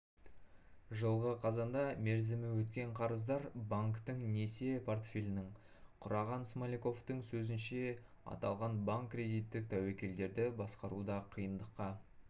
жылғы қазанда мерзімі өткен қарыздар банктің несие портфелінің құраған смоляковтың сөзінше аталған банккредиттік тәуекелдерді басқаруда қиындыққа